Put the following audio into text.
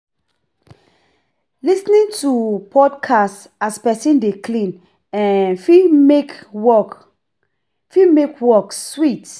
Lis ten ing to podcast as person dey clean um fit make work fit make work sweet